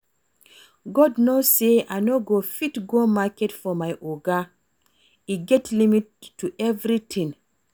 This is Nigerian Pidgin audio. God know say I no go fit go market for my Oga. E get limit to everything